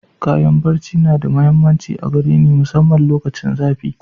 Kayan ɓarce na da mahimmanci a gare ni masamman lokacin zafi.